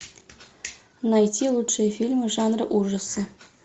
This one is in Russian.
найти лучшие фильмы жанра ужасы